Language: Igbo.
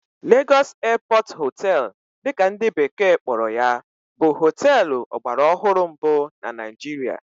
Lagos Airport Hotel' dị ka ndị bekee kpọrọ ya bụ hóteélụ̀ ọgbaraọhụrụ mbụ na Naịjirịa